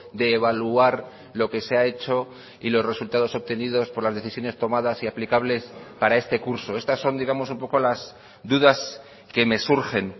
de evaluar lo que se ha hecho y los resultados obtenidos por las decisiones tomadas y aplicables para este curso estas son digamos un poco las dudas que me surgen